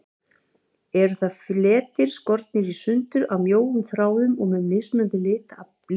Eru það fletir, skornir í sundur af mjóum þráðum og með mismunandi litblæ.